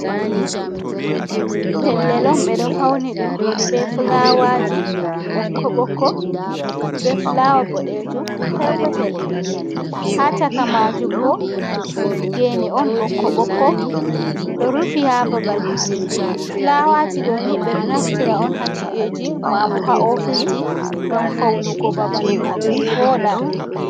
Pellel on, ɓe ɗo fauni ɗum be flawaji ɓokko-bokko, be flawa boɗeejum perpetel. Ha caka majum bo, gene on ɓokko-ɓokko, ɗo rufi ha babal maajum. Flawaji ɗoni ɓe ɗo naftira on ha ci’eji, ma bo ha ofisji ngam faunugo babal maajum vooɗa.